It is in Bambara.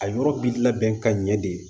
A yɔrɔ bi labɛn ka ɲɛ de